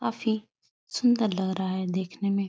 काफी सुंदर लग रहा है देखने में।